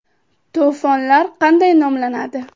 To‘fonlar qanday nomlanadi?.